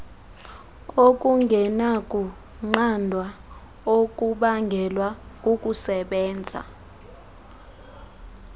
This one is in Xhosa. okungenakunqandwa okubangelwa kukusebenza